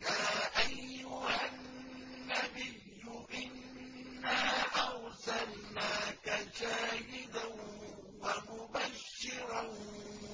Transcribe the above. يَا أَيُّهَا النَّبِيُّ إِنَّا أَرْسَلْنَاكَ شَاهِدًا وَمُبَشِّرًا